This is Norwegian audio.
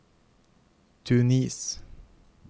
Tunis